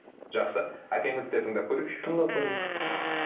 жақсы әкеңізді де тыңдап көрейікші тыңдап көрейік